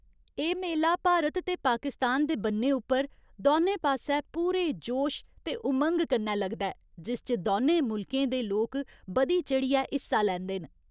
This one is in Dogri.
एह् मेला भारत ते पाकिस्तान दे बन्ने उप्पर दौनें पास्सै पूरे जोश ते उमंग कन्नै लगदा ऐ, जिस च दौनें मुल्कें दे लोक बधी चढ़ियै हिस्सा लैंदे न।